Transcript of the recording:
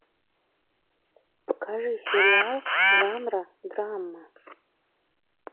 покажи сериал жанра драма